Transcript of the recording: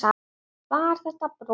Var þetta brot?